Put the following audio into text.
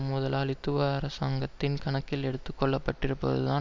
முதலாளித்துவ அரசாங்கத்தின் கணக்கில் எடுத்து கொள்ளப்பட்டிருப்பது தான்